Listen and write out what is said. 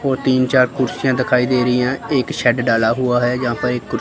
और तीन चार कुर्सियां दिखाई दे रही हैं एक शेड डाला हुआ है यहां पर एक कुर्सी--